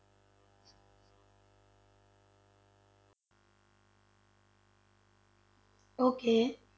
Okay